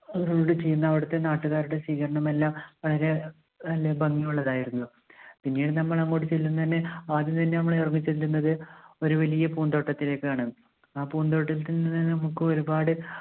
ഓരോട് ചെയ്യുന്ന അവിടുത്തെ നാട്ടുകാരുടെ സ്വീകരണം എല്ലാം വളരെ എന്താ ഭംഗിയുള്ളതായിരുന്നു. പിന്നീട് നമ്മൾ അങ്ങോട്ട് ചെല്ലുന്നത് തന്നെ, ആദ്യം തന്നെ നമ്മൾ ഇറങ്ങിച്ചെല്ലുന്നത് ഒരു വലിയ പൂന്തോട്ടത്തിലേക്കാണ്. ആ പൂന്തോട്ടത്തിൽ നിന്നും നമുക്ക് ഒരുപാട്